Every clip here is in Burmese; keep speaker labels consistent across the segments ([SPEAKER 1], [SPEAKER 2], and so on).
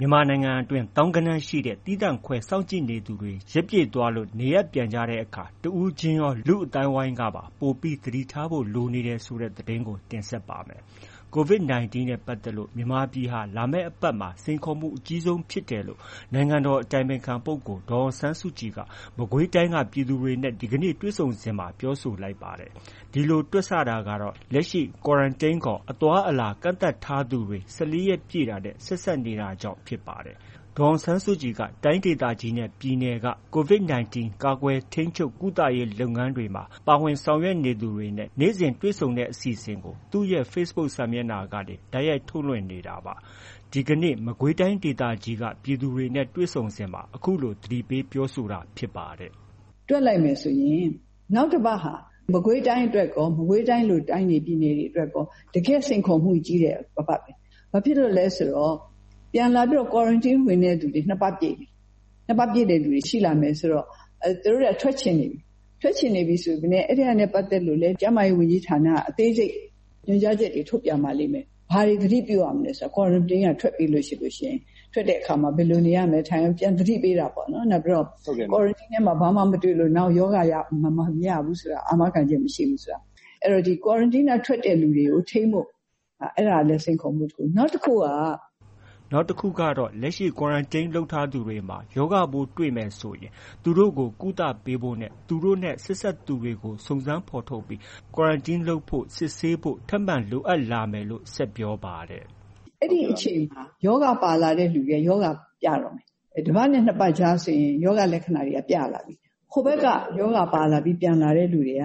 [SPEAKER 1] မြန်မာနိုင်ငံတွင်း သောင်းဂဏန်းရှိတဲ့ သီးသန့်ခွဲစောင့်ကြည့်နေသူတွေ ရက်ပြည့်သွားလို့ နေအိမ်ပြန်ကြတဲ့အခါ တဦးချင်းရော လူ့အသိုင်းအဝိုင်းကပါ ပိုပြီး သတိထားဖို့ လိုနေတယ်ဆိုတဲ့ သတင်းကို ဗွီအိုအေ မြန်မာပိုင်း သတင်းထောက် တင်ဆက်ပါမယ်။ COVID-19 နဲ့ ပတ်သက်လို့ မြန်မာပြည်ဟာ လာမယ့်အပတ်မှာ စိန်ခေါ်မှုအကြီးဆုံး ဖြစ်တယ်လို့ နိုင်ငံတော်အတိုင်ပင်ခံပုဂ္ဂိုလ် ဒေါ်အောင်ဆန်းစုကြည်က မကွေးတိုင်းက ပြည်သူတွေနဲ့ ဒီကနေ့ တွေ့ဆုံစဉ် ပြောဆိုလိုက်ပါတယ်။ ဒီလိုတွက်ဆတာကတော့ လက်ရှိ Quarantine ခေါ် အသွားအလာ ကန့်သတ်ထားသူတွေ ၁၄ ရက်ပြည့်တာနဲ့ ဆက်စပ်နေတာကြောင့် ဖြစ်ပါတယ်။ ဒေါ်အောင်ဆန်းစုကြည်က တိုင်းဒေသကြီးနဲ့ ပြည်နယ်တွေက COVID-19 ကာကွယ်၊ ထိန်းချုပ်၊ ကုသရေး လုပ်ငန်းတွေမှာ ပါဝင်ဆောင်ရွက်သူတွေနဲ့ နေ့စဉ် တွေ့ဆုံဆွေးနွေးတဲ့အစီအစဉ်ကို သူ့ရဲ့ Facebook စာမျက်နှာကနေ တိုက်ရိုက်ထုတ်လွှင့်နေတာပါ။ ဒီကနေ့ မကွေးတိုင်းဒေသကြီးက ပြည်သူတွေနဲ့ တွေ့ဆုံစဉ်မှာ အခုလို သတိပေးပြောဆိုတာဖြစ်ပါတယ်။
[SPEAKER 2] “တွက်လိုက်မယ်ဆိုရင် မကွေးတိုင်းအတွက်ရော၊ မကွေးတိုင်းလို တိုင်းတွေ၊ ပြည်နယ်တွေအတွက်ကော တကယ့် စိန်ခေါ်မှုကြီးတဲ့အပတ်ပဲ။ ဘာဖြစ်လို့လဲဆိုတော့ ပြန်လာပြီးတော့ Quarantine ဝင်တဲ့လူတွေ ၂ ပတ်ပြည့်ပြီ။ ၂ ပတ်ပြည့်တဲ့သူတွေ ရှိလာပြီဆိုတော့ သူတို့က ထွက်ချင်နေပြီ။ ထွက်ချင်နေပြီဆိုပေမဲ့ အဲဒါနဲ့ပတ်သက်လို့လည်း ကျန်းမာရေးဝန်ကြီးဌာနက အသေးစိတ် ညွှန်ကြားချက်တွေ ထုတ်ပြန်ပါလိမ့်မယ်။ ဘာတွေ သတိပြုရမယ်ဆိုတာ၊ Quarantine က ထွက်ပြီးလို့ရှိရင်။ ထွက်ပြီးတဲ့အခါ ဘယ်လို နေရမယ် ထိုင်ရမယ် ပြန်သတိပေးတာပေါ့။ နောက်ပြီးတော့ Quarantine ထဲမှာ ဘာမှ မတွေ့လို့ နောက် ရောဂါမရဘူးဆိုတာ အာမခံချက် မရှိဘူး။ အဲတော့ Quarantine က ထွက်တဲ့လူတွေကို ထိန်းဖို့ အဲဒါကလည်း စိန်ခေါ်မှုတစ်ခု။” နောက်တစ်
[SPEAKER 1] ခုကတော့ လက်ရှိ Quarantine လုပ်ထားသူတွေမှာ ရောဂါပိုးတွေ့မယ်ဆိုရင် သူတို့ကို ကုသပေးဖို့နဲ့ သူတို့နဲ့ ဆက်စပ်သူတွေကို စုံစမ်းဖော်ထုတ်ပြီး Quarantine လုပ်ဖို့ စစ်ဆေးဖို့ ထပ်မံလိုအပ်လာမယ်လို့ ဆက်ပြောပါတယ်။
[SPEAKER 2] “အဲဒီအချိန်မှာ ရောဂါပါလာတဲ့သူတွေက ရောဂါပြတော့မယ်။ တစ်ပတ်နဲ့ နှစ်ပတ်ကြားဆို ရောဂါလက္ခဏာတွေက ပြလာပြီ။ ဟိုဘက်က ရောဂါပါလာပြီး ပြန်လာတဲ့သူတွေက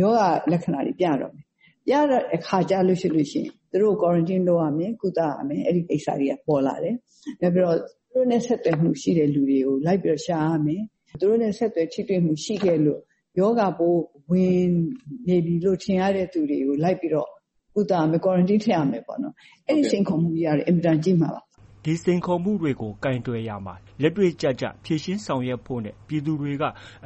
[SPEAKER 2] ရောဂါလက္ခဏာပြတော့မယ်။ ပြတဲ့အခါကျလို့ရှိရင် သူတို့ကို Quarantine လုပ်ရမယ်။ ကုသရမယ်၊ အဲဒီကိစ္စတွေ ပေါ်လာမယ်။ နောက်ပြီးတော့ သူတို့နဲ့ ဆက်သွယ်မှုရှိတဲ့သူတွေကို လိုက်ပြီးတော့ ရှာရမယ်။ သူတို့နဲ့ ဆက်သွယ်မှု ရှိခဲ့လို့ ရောဂါပိုးဝင်နေပြီလို့ ထင်ရတဲ့သူတွေကို လိုက်ပြီးတော့ ကုသရမယ်။ Quarantine ထည့်ရမယ်ပေါ့။ အဲဒီစိန်ခေါ်မှုကလည်း အင်မတန်ကြီးမှာပါ။
[SPEAKER 1] ” ဒီစိန်ခေါ်မှုတွေကိုကိုင်တွယ်ရာမှာ လက်တွေ့ကျကျ ဖြေရှင်းဆောင်ရွက်ဖို့နဲ့ ပြည်သူတွေ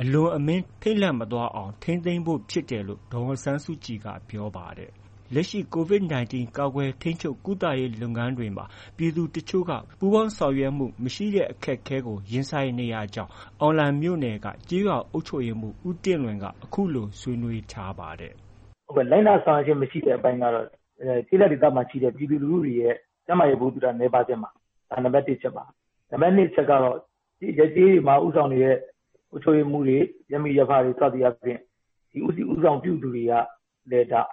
[SPEAKER 1] အလွန်အမင်း ထိတ်လန့်မသွားအောင် ထိန်းသိမ်းဖို့ ဖြစ်တယ်လို့လည်း ဒေါ်အောင်ဆန်းစုကြည်က ပြောပါတယ်။ လက်ရှိ COVID-19 ကာကွယ်၊ ထိန်းချုပ် ၊ကုသရေး လုပ်ငန်းတွေမှာ ပြည်သူတချို့က ပူးပေါင်းဆောင်ရွက်မှုမရှိတဲ့ အခက်အခဲကိုရင်ဆိုင်ရကြောင်း အောင်လံမြို့နယ်က ကျေးရွာအုပ်ချုပ်ရေးမှုး ဦးတင့်လွင်က အခုလို ဆွေးနွေးထားပါတယ်။
[SPEAKER 3] “လိုက်နာဆောင်ရွက်ခြင်းမရှိတဲ့အပိုင်းကတော့ ကျေးလက်ဒေသမှာရှိတဲ့ ပြည်သူလူထုတွေ ကျန်းမာရေး ဗဟုသုတနည်းပါးခြင်းပါ။ ဒါက နံပတ်တစ်အချက်ပါ။ နံပတ် ၂ အချက်ကတော့ ရပ်ကျေးတွေမှာ ဦးဆောင်နေတဲ့ အုပ်ချုပ်ရေးမှူးတွေ၊ ရပ်မိရပ်ဖတွေ စသည်အားဖြင့် ဦးစီးဦးဆောင်ပြုသူတွေက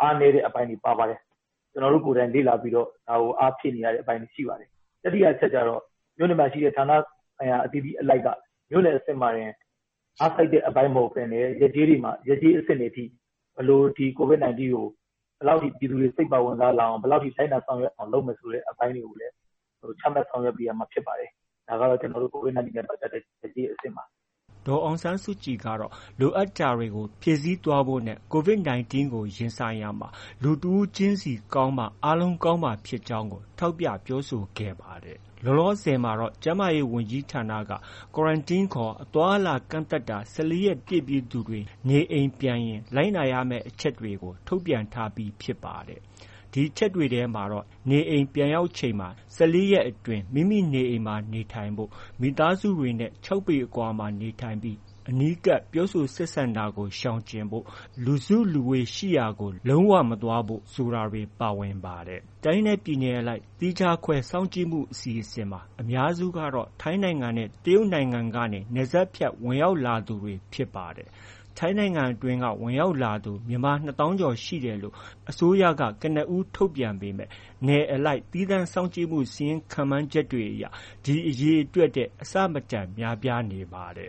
[SPEAKER 3] အားနည်းတဲ့ အပိုင်းတွေပါပါတယ်။ ကျနော်တို့ကိုယ်တိုင် လေ့လာပြီးတော့ ဒါကို အားဖြည့်နေရတဲ့ အပိုင်းတွေ ရှိပါတယ်။ တတိယအချက်ကတော့ မြို့နယ်မှာ ရှိတဲ့ ဌာနဆိုင်ရာ အသီးသီးက မြို့နယ်မှာတင် အားစိုက်တဲ့အပိုင်းမဟုတ်ဘဲနဲ့ ရပ်ကျေးတွေအထိ COVID-19 နဲ့ ပတ်သက်လို့ ဘယ်လောက်ထိ ပြည်သူတွေ စိတ်ပါဝင်စားလာအောင် ဘယ်လောက်ထိ လိုက်နာဆောင်ရွက်အောင် လုပ်မယ်ဆိုတဲ့အပိုင်းတွေကိုလည်း ချမှတ် ဆောင်ရွက်ပေးရမှာဖြစ်ပါတယ်။ ဒါကတော့ ကျနော်တို့ COVID-19 နဲ့ ပတ်သက်တဲ့ ရပ်ကျေးအဆင့်ပါ။
[SPEAKER 1] ” ဒေါ်အောင်ဆန်းစုကြည်ကတော့ လိုအပ်တာတွေကို ဖြည့်ဆည်းသွားဖို့နဲ့ COVID-19 ကို ရင်ဆိုင်မှာ လူတစ်ဦးချင်းစီ ကောင်းမှ အားလုံးကောင်းမှာဖြစ်ကြောင်းကို ထောက်ပြပြောဆိုခဲ့ပါတယ် လောလောဆယ်မှာတော့ ကျန်းမာရေးဝန်ကြီးဌာနက Quarantine ခေါ် အသွားအလာကန့်သတ်တာ ၁၄ ရက်ပြည့်ပြီးသူတွေ နေအိမ်ပြန်ရင် လိုက်နာရမယ့် အချက်တွေကို ထုတ်ပြန်ထားပြီဖြစ်ပါတယ်။ ဒီအချက်တွေထဲမှာတော့ နေအိမ်ပြန်ရောက်ချိန်မှာ ၁၄ ရက် အတွင်း မိမိနေအိမ်မှာ နေထိုင်ဖို့၊ မိသားစုဝင်တွေနဲ့ ၆ ပေ အကွာမှာ နေထိုင်ပြီး အနီးကပ် ပြောဆိုတာကို ရှောင်ကြဉ်ဖို့ ၊ လူစုလူဝေးရှိရာကို လုံးဝမသွားရောက်ဖို့ ဆိုတာတွေ ပါဝင်ပါတယ်။ တိုင်းနဲ့ပြည်နယ်အလိုက် သီးခြားခွဲစောင့်ကြည့်မှု အစီအစဉ်မှာ အများစုကတော့ ထိုင်းနိုင်ငံနဲ့ တရုတ်နိုင်ငံကနေ နယ်စပ်ဖြတ် ဝင်ရောက်လာသူတွေဖြစ်ကြပါတယ်။ ထိုင်းနိုင်ငံတွင်းက ဝင်လာသူ မြန်မာနှစ်သောင်းကျော်ရှိတယ်လို့ အစိုးရက ကနဦး ထုတ်ပြန်ပေမဲ့ နယ်အလိုက်သီးသန့်စောင့်ကြည့်မှုစာရင်း ခန့်မှန်းချက်တွေအရ ဒီအရေအတွက်ထက် အဆမတန်များပြားနေပါတ